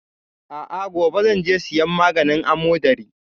A'a, gobe zan je siyan maganin amodari.